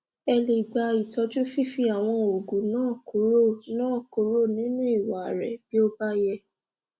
ẹ lè gba itọju fífi àwọn oògùn náà kúrò nínú náà kúrò nínú ìwà rẹ bí ó bá yẹ